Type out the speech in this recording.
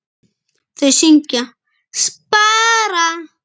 Þau syngja: SPARA!